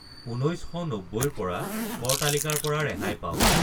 ঊনৈশ শ নব্বৈৰ পৰা কৰ তালিকাৰ পৰা ৰেহাই পাওক